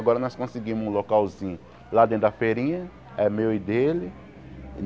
Agora nós conseguimos um localzinho lá dentro da feirinha, é meu e dele.